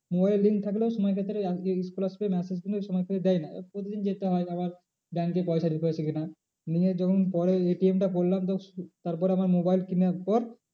Mobile link থাকলেও সময় ক্ষেত্রে scholarship এর massage কিন্তু সময় করে দেয় না এবার প্রতিদিন যেতে হয় আবার bank এ পয়সা ঢুকেছে কি না। নিয়ে যখন পরে ATM টা করলাম তো তারপর আমার mobile কিনার পর